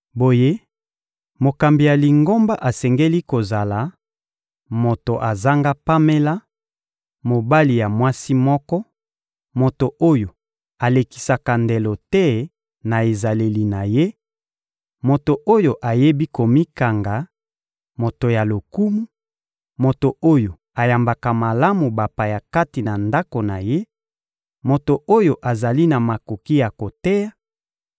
Boye, mokambi ya Lingomba asengeli kozala: moto azanga pamela, mobali ya mwasi moko, moto oyo alekisaka ndelo te na ezaleli na ye, moto oyo ayebi komikanga, moto ya lokumu, moto oyo ayambaka malamu bapaya kati na ndako na ye, moto oyo azali na makoki ya koteya,